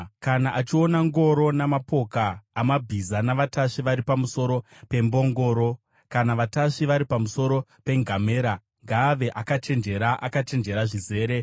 Kana achiona ngoro namapoka amabhiza, navatasvi vari pamusoro pembongoro kana vatasvi vari pamusoro pengamera, ngaave akachenjera, akachenjera zvizere.”